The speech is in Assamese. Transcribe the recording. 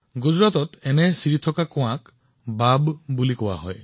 গুজৰাটত এই ষ্টেপৱেলবোৰক ভাভ বুলি কোৱা হয়